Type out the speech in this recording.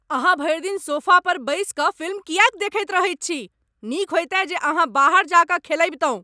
अहाँ भरि दिन सोफा पर बैसि कऽ फिल्म किएक देखैत रहैत छी? नीक होइतै जे अहाँ बाहर जा कऽ खेलबितहुँ !